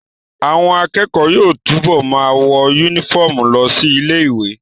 Àwọn akẹ́kọ̀ọ́ yóò túbọ̀ ma wọ yúnífọ̀mù lọ sí ilé ìwé